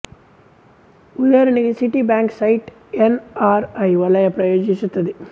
ಉದಾಹರಣೆಗೆ Citi bank site NRI ವಲಯ ಪ್ರಯೋಜಿಸುತ್ತದೆ